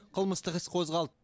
қылмыстық іс қозғалды